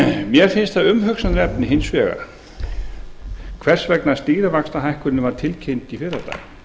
mér finnst það umhugsunarefni hins vegar hvers vegna stýrivaxtahækkunin var tilkynnt í fyrradag